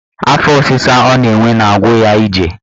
Afọ ọsịsa ọ na-enwe na-agwu ya ije